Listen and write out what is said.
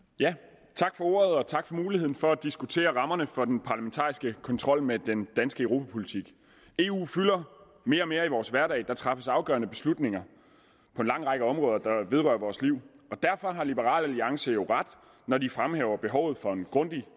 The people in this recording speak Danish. ja tak for ordet og tak for muligheden for at diskutere rammerne for den parlamentariske kontrol med den danske europapolitik eu fylder mere og mere i vores hverdag og der træffes afgørende beslutninger på en lang række områder der vedrører vores liv og derfor har liberal alliance jo ret når de fremhæver behovet for en grundig